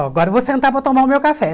Oh, agora eu vou sentar para tomar o meu café.